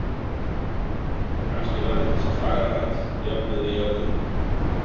Kannski verður þessi fagra höll jöfnuð við jörðu.